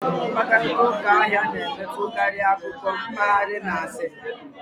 Mkparịta ụka ahịa na-emetụtakarị akụkọ mpaghara na asịrị